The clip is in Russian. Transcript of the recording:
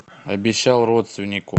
обещал родственнику